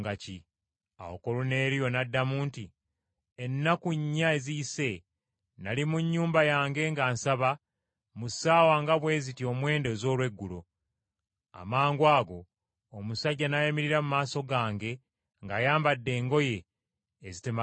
Awo Koluneeriyo n’addamu nti, “Ennaku nnya eziyise, nnali mu nnyumba yange nga nsaba mu ssaawa nga bwe ziti omwenda ez’olweggulo. Amangwago omusajja n’ayimirira mu maaso gange ng’ayambadde engoye ezitemagana.